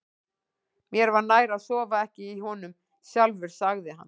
Mér var nær að sofa ekki í honum sjálfur, sagði hann.